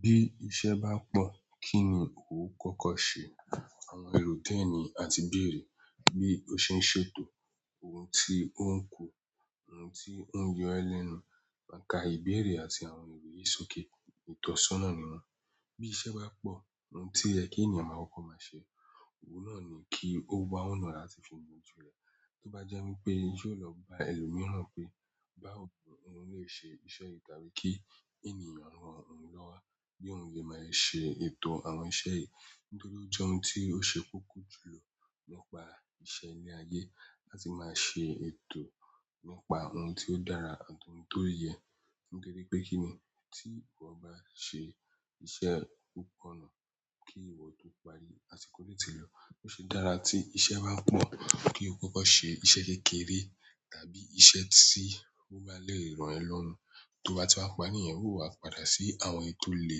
Bí iṣẹ́ bá pọ̀, kí ni ò n kọ́kọ́ ṣe? Àwọn ẹrò díẹ̀ ni a ti bèèrè bí ó ṣe ń ṣètò ohun tí ó ń ku, ohun tí ó ń yọ ẹ lẹ́nu. Àká ìbéèrè àti àwọn ìwé ìsòké, ìtọ́sọ́nà ni wọ́n. Bí iṣẹ́ bá pọ̀, ohun tí ó yẹ kí ènìyàn máa kọ́kọ́ máa ṣe, òun náà ni kí ó wá ọ̀nà ara ti fi bojú rẹ̀. Tó bá jẹ́ wípé yóò lọ bá ẹlòmíràn pé, "Báwo ni mo lè ṣe iṣẹ́ yìí?" tàbí kí ènìyàn rán òun lọ́wọ́ bí òun lè máa ṣe ètò àwọn iṣẹ́ yìí. Nítorí ó jẹ́ ohun tí ó ṣe kókó jùlọ nípa iṣẹ́ ilé-ayé láti máa ṣe ètò nípa ohun tí ó dára àti ohun tó yẹ. Nítorí pé kíni tí ìwọ bá ṣe iṣẹ́ púpọ̀ náà, kí ìwọ tó parí àsìkò o ti lọ́. Ó ṣe dára tí iṣẹ́ bá pọ̀ kí o kọ́kọ́ ṣe iṣẹ́ kékeré tàbí iṣẹ́ tí ó bá lè ràn ẹ́ lọ́run. Tó bá ti wá parí, ìyẹn ó wá padà sí àwọn èyí tò le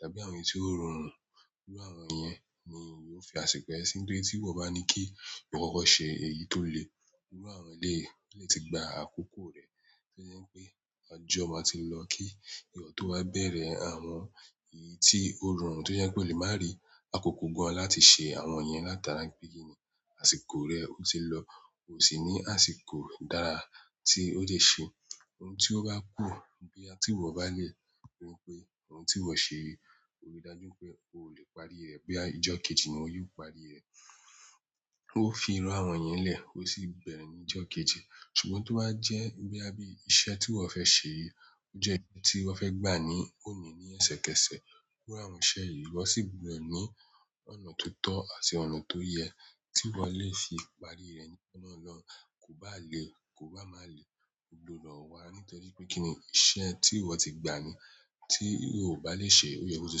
tàbí àwọn èyí tò rọ̀run. Pẹ̀lú àwọn ènìyàn ní mò fin àṣìko yẹ́n si. Nítorí tí ìwọ bá ní kí o kọ́kọ́ ṣe èyí tó le, gbogbo àwọn èlé lè ti gba àkókò rẹ̀. Tí ó jẹ́ pé ọjọ́ máa ti lọ kí ìwọ tó wá bẹ̀rẹ̀ àwọn èyí tí ó rọrùn, tí ó jẹ́ pé ó lè máa rí àkókò gan láti ṣe àwọn ènìyàn látara pé kíni àsìkò rẹ ó ti lọ. Ó sì ní àsìkò dára tí ó dẹ́ ṣe ohun tí ó bá kù boyà ti ìwọ bá lè rí pé ohun tí ìwọ ṣe yìí, ó rí i dájú pé ò lè parí rẹ̀ pé àjọ kejì ni ó yóò parí rẹ̀. Ó fi iru àwọn ìyẹn lẹ̀, ó sì bẹ̀rẹ̀ ní ìjọ kejì. Ṣùgbọ́n ti o ba jẹ bóyá bi iṣẹ́ tí iwọ fẹ ṣe, o jẹ nkán ti wọn fẹ gbà ni òní lesẹ kẹsẹ irú àwọn iṣẹ́ yi iwọ si gbudọ ni ọnà tòótọ àti ọnà tó yẹ ti wọ le fi parí rẹ kò bá à le, kò bá má le gbódò wá. Nítorí pé kíni iṣẹ́ tí ìwọ ti gbà ni tí ìwọ ò bá lè ṣe, ó yẹ kó ti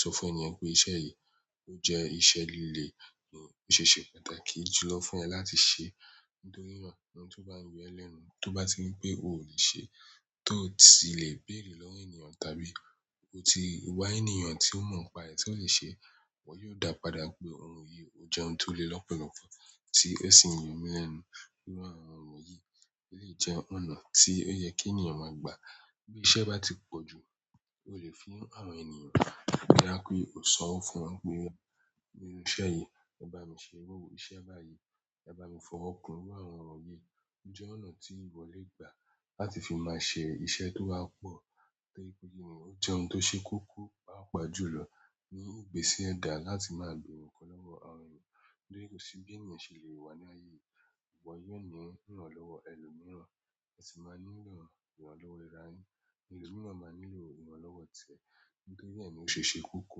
sọ fún ènìyàn pé iṣẹ́ yìí ó jẹ́ iṣẹ́ lile. Ó ṣe é ṣe pàtàkì jùlọ fún ẹ láti ṣe. Nítorí na ohun tí ó bá ń yọ ẹ lẹ́nu tó bá ti ripé ò lè ṣe, tó sì lè bèèrè lọ́wọ́ ènìyàn tàbí ó ti wá ènìyàn tí ó mọ̀ pa ẹ tí ó lè ṣe. Wọn yóò dá padà pé ohun yìí ó jẹ́ ohun tó le lọ́pọ̀lọ́pọ̀ tí ó sì ń yọ mí lẹ́nu. Irú àwọn ọ̀nà yìí o lè jẹ́ ọ̀nà tí ó yẹ kí ènìyàn máa gbà. Bí iṣẹ́ bá ti pọ̀ jù, o lè fún àwọn ènìyàn. Boya kí o san owo fún wọn pé, "Bí iṣẹ́ yìí, ẹ bá mi ṣe. Bí iṣẹ́ bá yìí, ẹ bá mi fọwọ́ kùn." iru àwọn ọ̀nà yìí jẹ́ ọ̀nà tí ìwọ lè gbà láti fi máa ṣe iṣẹ́ tó bá pọ̀. Bí iṣẹ́ bá ti pọ̀ jù, o lè fún àwọn ènìyàn. Boya kí o san owo fún wọn pé, "Bí iṣẹ́ yìí, ẹ bá mi ṣe. Bí iṣẹ́ bá yìí, ẹ bá mi fọwọ́ kùn." iru àwọn ọ̀nà yìí jẹ́ ọ̀nà tí ìwọ lè gbà láti fi máa ṣe iṣẹ́ tó wá pọ̀. Nítorí kò sí bí ènìyàn ṣe lè wà ní ayé, ìwọ yóò ní ìrànlọ́wọ́ ẹlòmíràn, ẹ sì máa nílò ìrànlọ́wọ́ ara yin. Ẹ̀lo miran máa nílò ìrànlọ́wọ́ tiẹ. Nítorí bẹ́ẹ̀ ni ó ṣe é ṣe koko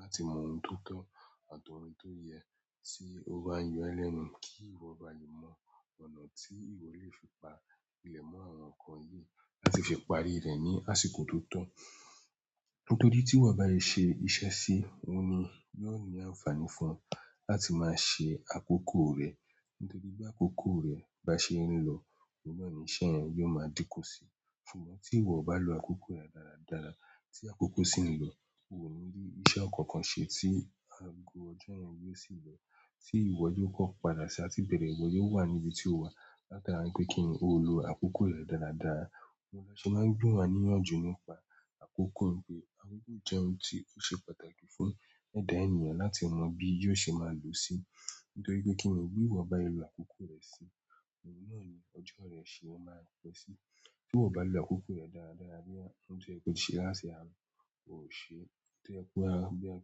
láti mọ ohun tó tọ́ àti ohun tó yẹ tí ó bá ń yọ ẹlẹ́nu kí ìwọ bá lè mọ ọ̀nà tí ìwọ lè fi pa ilẹ̀ mọ́ àwọn nǹkan yìí láti fi parí rẹ̀ ní àsìkò tó tọ́. Nítorí tí ìwọ bá lè ṣe iṣẹ́ sí i, òun ni yóò ní àǹfààní fún ẹ láti máa ṣe àkókò rẹ. Nítorí bí àkókò rẹ bá ṣe ń lọ̀, òun náà ni iṣẹ́ ẹ́ yóò máa dínkù si. Ṣùgbọ́n tí ìwọ bá lo àkókò rẹ dáradára, tí àkókò sì ń lọ, òun ni ní iṣẹ́ kankan ṣe tí ago ọjọ́ yẹn yóò sì lọ tí ìwọ yóò kọ́ padà sí àti bẹ̀rẹ̀. Ìwọ yóò wà ní ibi tí ó wà látari pé kíni o lo àkókò rẹ dáradàra. Òun lọ́ ṣe máa ń gbọ́ wa níyànjú nípa àkókò pé àkókò jẹ́ ohun tí ó ṣe pàtàkì fún ẹ̀dá ènìyàn láti mọ bí yóò ṣe máa lò ó sí. Nítorí pé kíni bí ìwọ bá lo àkókò rẹ sí i, òun náà ni ọjọ́ rẹ ṣe máa ń pẹ́ sí. Bí ìwọ bá lo àkókò rẹ dáradàra bí ohun tí ẹ kó ṣe lásìkò, o ò ṣe é. Torí pé bá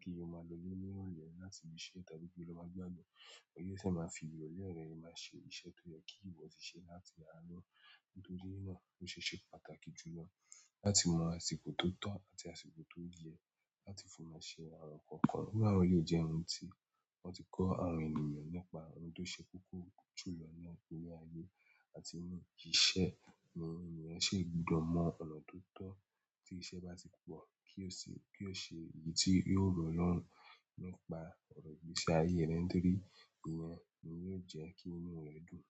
kíni o máa lo ilé ní ìrọ̀lẹ́ láti rí i ṣe tàbí kí o máa gbádùn, ó yẹ kí ẹ máa fi ìrọ̀lẹ́ rẹ rí máa ṣe iṣẹ́ tó yẹ kí ìwọ ti ṣe láti arọ́. Nítorí náà ó ṣe é ṣe pàtàkì jùlọ láti mọ àsìkò tó tọ̀ àti àsìkò tó yẹ láti fi máa ṣe àwọn nǹkan. Pẹ̀lú àwọn yìí jẹ́ ohun tí wọ́n ti kọ́ àwọn ènìyàn nípa ohun tó ṣe koko jùlọ ní ayé àti ohun kìí ṣe nǹkan tí ẹ́ ṣe gbọdọ̀ mọ ọ̀nà tó tọ́ tí iṣẹ́ bá ti pọ̀ kí ó sì, kí ó ṣe ìyí tí yóò rọrùn lọ́pàá ọ̀rọ̀ ìgbésí ayé rẹ nítorí ìyẹn ni yóò jẹ́ kí inú rẹ dùn.